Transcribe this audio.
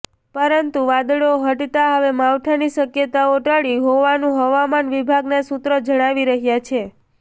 પરંતું વાદળો હટતા હવે માવઠાની શક્યતોઓ ટળી હોવાનું હવામાન વિભાગના સુત્રો જણાવી રહયા છે